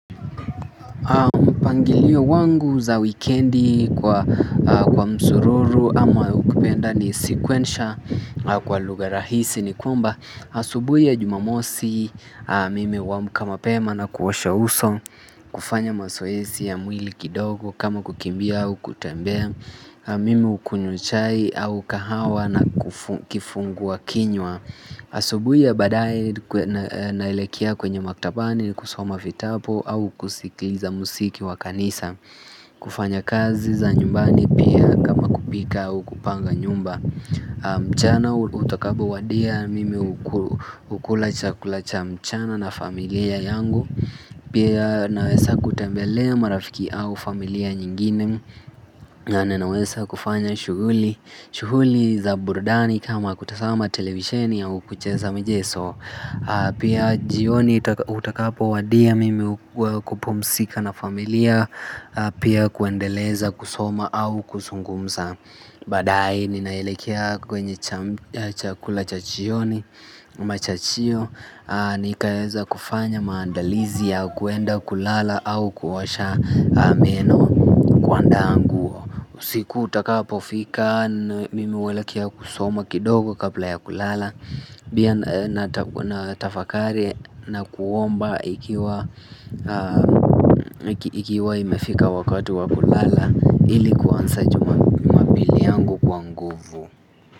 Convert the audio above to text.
Mpangilio wangu za wikendi kwa msururu ama ukipenda ni sikwensha kwa lugha rahisi ni kwamba asubuhi ya jumamosi mimi huamka mapema na kuosha uso kufanya mazoezi ya mwili kidogo kama kukimbia au kutembea mimi hukunywa chai au kahawa na kifungua kinywa asubuhi ya baadaye naelekea kwenye maktabani kusoma vitabu au kusikliza muziki wa kanisa kufanya kazi za nyumbani pia kama kupika au kupanga nyumba mchana utakapowadia mimi hukula chakula cha mchana na familia yangu pia nawesa kutembelea marafiki au familia nyingine na naweza kufanya shughuli shughuli za burudani kama kutazama televisheni au kucheza michezo pia jioni utakapowadia mimi hupumzika na familia pia kuendeleza kusoma au kuzungumza baadaye ninaelekea kwenye chakula cha jioni Machachio. Nikaweza kufanya maandalizi ya kwenda kulala au kuosha meno kuandaa nguo usiku utakapofika mimi huelekea kusoma kidogo kabla ya kulala pia natafakari na kuomba ikiwa ikiwa imefika wakati wa kulala ilikuwa kuanza jumapili yangu kwa nguvu.